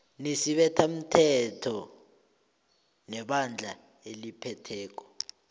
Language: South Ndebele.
nesibethamthetho nebandla eliphetheko